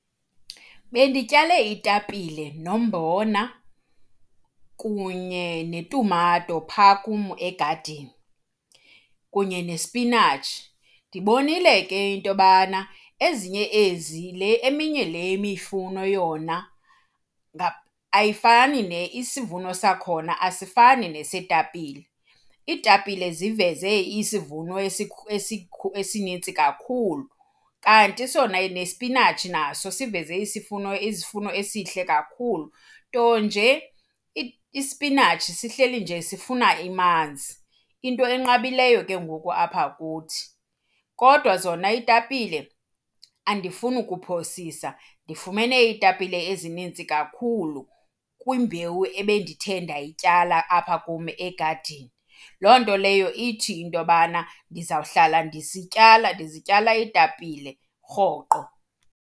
Bendityale iitapile nombona kunye netumato phaa kum egadini kunye nesipinatshi. Ndibonile ke into yobana ezinye ezi, le eminye le imifuno yona ayifani isivuno sakhona asifani neseetapile. Iitapile ziveze isivuno esinintsi kakhulu kanti sona nesipinatshi naso siveze isifuno izivuno esihle kakhulu. Nto nje ispinatshi sihleli nje sifuna amanzi, into enqabileyo ke ngoku apha kuthi. Kodwa zona iitapile andifuni ukuphosisa ndifumene iitapile ezinintsi kakhulu kwimbewu ebendithe ndayityala apha kum egadini. Loo nto leyo ithi into yobana ndizawuhlala ndisityala ndizityala iitapile rhoqo.